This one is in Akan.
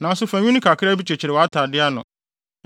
Nanso fa nwi no kakra bi kyekyere wʼatade ano.